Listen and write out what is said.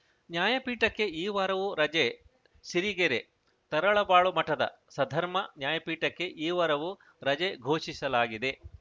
ನ್ಯಾಯಪೀಠಕ್ಕೆ ಈ ವಾರವೂ ರಜೆ ಸಿರಿಗೆರೆ ತರಳಬಾಳು ಮಠದ ಸದ್ಧರ್ಮ ನ್ಯಾಯಪೀಠಕ್ಕೆ ಈ ವಾರವೂ ರಜೆ ಘೋಷಿಸಲಾಗಿದೆ